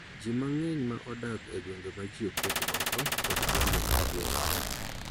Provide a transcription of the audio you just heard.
Ji mang�eny ma odak e gwenge ma ji oket oko kod gwenge mag gwenge